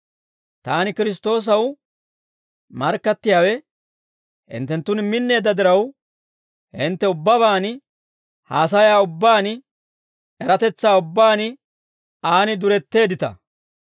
Taani Kiristtoosaw markkattiyaawe hinttenttun minneedda diraw, hintte ubbabaan, haasayaa ubbaan eratetsaa ubbaan, aan duretteeddita.